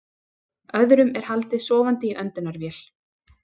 Öðrum er haldið sofandi í öndunarvél